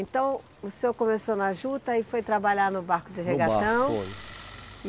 Então, o senhor começou na Juta e foi trabalhar no barco de regatão. e